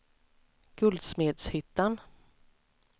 Guldsmedshyttan